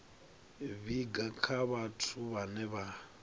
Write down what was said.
vhiga kha vhathu vhane vha